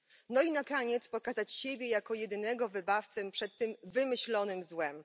No i na koniec pokazać siebie jako jedynego wybawcę przed tym wymyślonym złem.